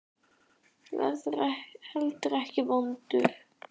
Verður heldur ekki vondur.